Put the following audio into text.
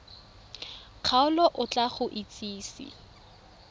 kgaolo o tla go itsise